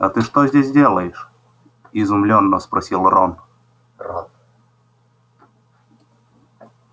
а ты что здесь делаешь изумлённо спросил рон